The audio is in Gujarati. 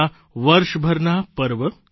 તેમાં આપણે વર્ષભરના પર્વ